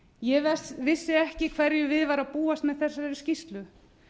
ég vissi ekki við hverju var að búast með þessari skýrslu